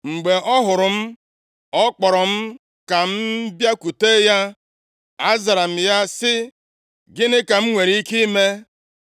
Mgbe ọ hụrụ m, ọ kpọrọ m ka m bịakwute ya. Azara m ya sị, ‘Gịnị ka m nwere ike ime?’